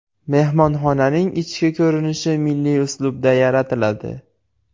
Mehmonxonaning ichki ko‘rinishi milliy uslubda yaratiladi.